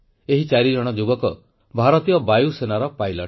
ଏହି ଚାରିଜଣ ଯୁବକ ଭାରତୀୟ ବାୟୁସେନାର ପାଇଲଟ